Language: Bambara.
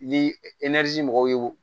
Ni mɔgɔw ye